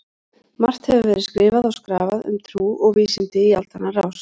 Margt hefur verið skrifað og skrafað um trú og vísindi í aldanna rás.